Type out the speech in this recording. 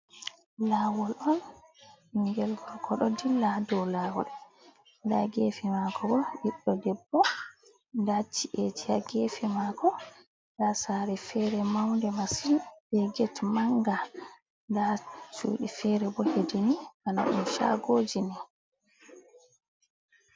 Laawol on, ɓinngel gorko ɗo dilla ha dow laawol. Ndaa geefe maako bo ɓiɗɗo debbo, ndaa ci'eeji ha geefe maako, ndaa saare feere mawnde masin bee get mannga, ndaa cuuɗi feere bo heedi ni bana ɗum caagooji ni.